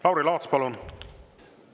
Lauri Laats, palun!